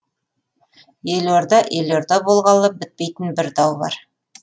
елорда елорда болғалы бітпейтін бір дау бар